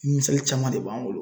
Misali caman de b'an bolo.